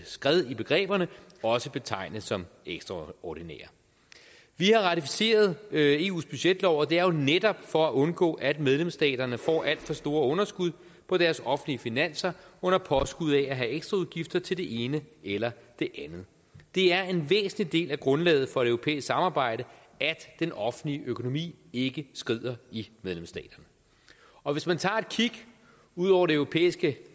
skred i begreberne også betegne som ekstraordinære vi har ratificeret eus budgetlov og det er netop for at undgå at medlemsstaterne får alt for store underskud på deres offentlige finanser under påskud af at have ekstraudgifter til det ene eller det andet det er en væsentlig del af grundlaget for et europæisk samarbejde at den offentlige økonomi ikke skrider i medlemsstaterne og hvis man tager et kig ud over det europæiske